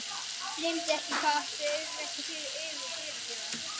Gleymdu ekki hvað ég átti auðvelt með að fyrirgefa!